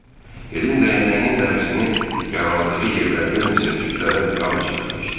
Helin dəyənəyinin dərisini yaraladığı yerlərdən isə tüklərə qan çirənlənmişdi.